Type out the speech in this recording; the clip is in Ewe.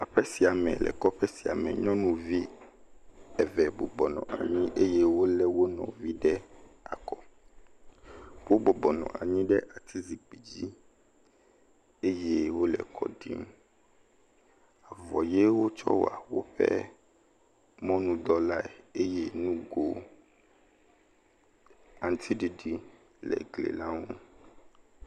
Aƒe sia me le kɔƒe sia me, nyɔnuvi eve bɔbɔ nɔ anyi eye wolé nɔvi ɖe akɔ, wobɔbɔ nɔ ɖe ati zikpui dzi eye wole kɔ ɖim,… wotsɔ wɔ woƒe mɔnudɔ lae eye nugo aŋutiɖiɖi le gli la ŋu.